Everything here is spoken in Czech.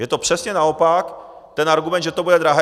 Je to přesně naopak, ten argument, že to bude drahé.